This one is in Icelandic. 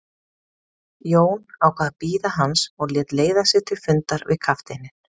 Jón ákvað að bíða hans og lét leiða sig til fundar við kafteininn.